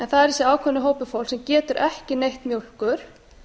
það er þessi ákveðinn hópur fólks sem getur ekki neytt mjólkur